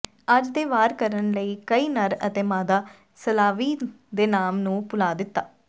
ਅੱਜ ਦੇ ਵਾਰ ਕਰਨ ਲਈ ਕਈ ਨਰ ਅਤੇ ਮਾਦਾ ਸਲਾਵੀ ਦੇ ਨਾਮ ਨੂੰ ਭੁਲਾ ਦਿੱਤਾ